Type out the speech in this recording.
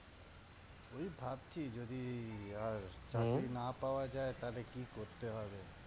ঐ ভাবছি যদি আর চাকরি না পাওয়া যায় তালে কি করতে হবে।